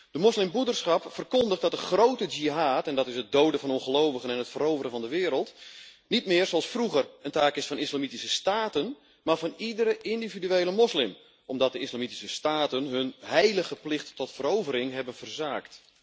De moslimbroederschap verkondigt dat de grote jihad en dat is het doden van ongelovigen en het veroveren van de wereld niet meer zoals vroeger een taak is van islamitische staten, maar van iedere individuele moslim, omdat de islamitische staten hun heilige plicht tot verovering hebben verzaakt.